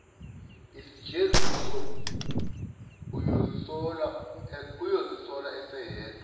isijeziso uyozisola eseyedwa